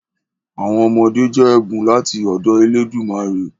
Àwọn ọmọdé jẹ́ ẹ̀bùn láti ọ̀dọ elédùmarè.